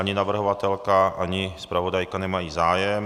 Ani navrhovatelka, ani zpravodajka nemají zájem.